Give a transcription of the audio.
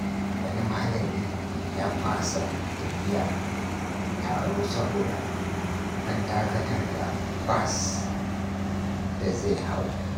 Wani malami ya fasa tafiya taro saboda an dakatar da bas da zai hau.